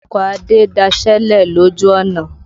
Ọkọ̀ Adé daṣélẹ̀ lòjù ọ̀nà.